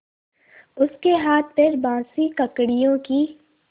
उसके हाथपैर बासी ककड़ियों की